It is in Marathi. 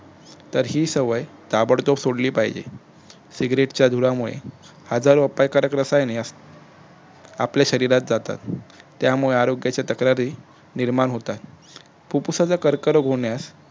तर ही सवय ताबडतो सोडली पाहिजे सिग्रेटच्या धुरामुळे आजारवापक रसायने आपल्या शरिरात जातात त्यामुळे आरोग्याच्या तक्रारी निर्माण होतात फुप्फुसाचा कर्करोग होण्यास